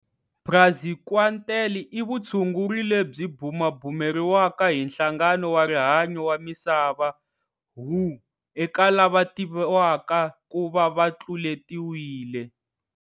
Praziquantel i vutshunguri lebyi bumabumeriwaka hi Nhlangano wa Rihanyu wa Misava WHO, eka lava tiviwaka ku va va tluletiwile.